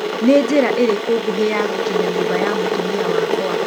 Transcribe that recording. nĩ njĩra ĩriku ngũhi ya gũkinya nyũmba ya mũtũmia wakwa